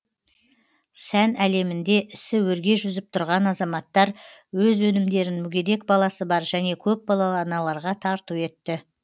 сән әлемінде ісі өрге жүзіп тұрған азаматтар өз өнімдерін мүгедек баласы бар және көпбалалы аналарға тарту етті